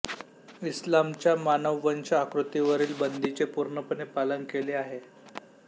इस्लामच्या मानववंश आकृतीवरील बंदीचे पूर्णपणे पालन केले आहे